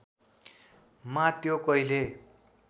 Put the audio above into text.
मा त्यो कहिल्यै